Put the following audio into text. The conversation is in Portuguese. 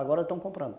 Agora estão comprando.